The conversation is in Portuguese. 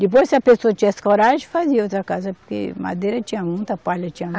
Depois, se a pessoa tivesse coragem, fazia outra casa, porque madeira tinha muita, palha tinha